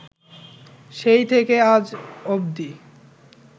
সেই থেকে আজ অব্দি